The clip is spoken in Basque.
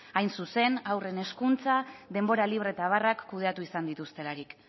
hain zuzen haurren hezkuntza denbora libre eta abarrak kudeatu izan dituztelarik